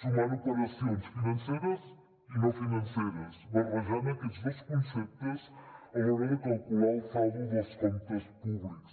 sumant operacions financeres i no financeres barrejant aquests dos conceptes a l’hora de calcular el saldo dels comptes públics